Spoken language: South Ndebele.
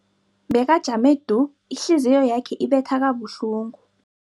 Bekajame du, ihliziyo yakhe ibetha kabuhlungu.